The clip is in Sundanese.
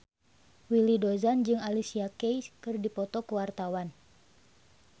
Willy Dozan jeung Alicia Keys keur dipoto ku wartawan